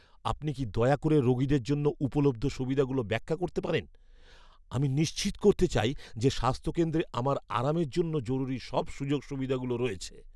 আপনি কি দয়া করে রোগীদের জন্য উপলব্ধ সুবিধাগুলো ব্যাখ্যা করতে পারেন? আমি নিশ্চিত করতে চাই যে স্বাস্থ্য কেন্দ্রে আমার আরামের জন্য জরুরি সব সুযোগ সুবিধাগুলো রয়েছে।